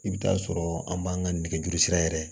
I bɛ taa sɔrɔ an b'an ka nɛgɛjuru sira yɛrɛ